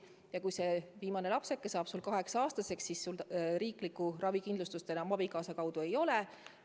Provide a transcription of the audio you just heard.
Ja kui viimane lapsuke on saanud 18-aastaseks, siis sel pereemal riiklikku ravikindlustust abikaasa kaudu enam ei ole.